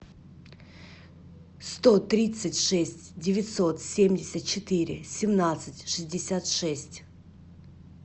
сто тридцать шесть девятьсот семьдесят четыре семнадцать шестьдесят шесть